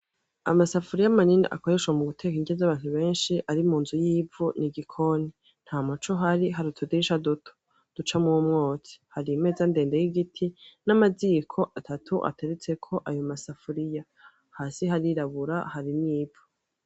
Amasafuriya manini akoreshwa muguteka inrya zabantu ari munzu yivu mugikoni ntamuco uhari hari utudisha duto ducamwumwotsi hari imeza ndende yigiti namaziko atatu ateretseko ayo masafuriya hasi harirabura harimwivu